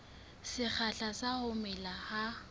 sekgahla sa ho mela ha